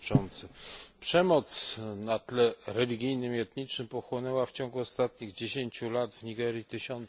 Przemoc na tle religijnym i etnicznym pochłonęła w ciągu ostatnich dziesiąci lat w Nigerii tysiące ofiar.